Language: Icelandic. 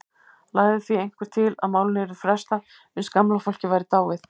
Lagði því einhver til að málinu yrði frestað uns gamla fólkið væri dáið.